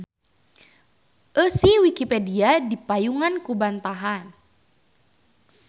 Eusi Wikipedia dipayungan ku bantahan.